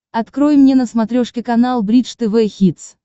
открой мне на смотрешке канал бридж тв хитс